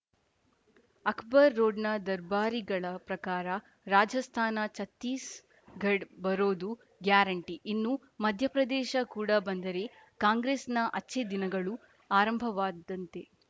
ಅಕ್ಬರ್‌ ರೋಡ್‌ನ ದರ್ಬಾರಿಗಳ ಪ್ರಕಾರ ರಾಜಸ್ಥಾನ ಛತ್ತೀಸ್‌ಗಡ್ ಬರೋದು ಗ್ಯಾರಂಟಿ ಇನ್ನು ಮಧ್ಯಪ್ರದೇಶ ಕೂಡ ಬಂದರೆ ಕಾಂಗ್ರೆಸ್‌ನ ಅಚ್ಛೆ ದಿನಗಳು ಆರಂಭವಾದಂತೆ